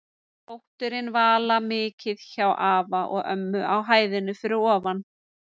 Dóttirin Vala mikið hjá afa og ömmu á hæðinni fyrir ofan.